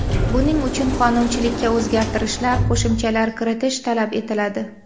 Buning uchun qonunchilikka o‘zgartishlar, qo‘shimchalar kiritish talab etiladi.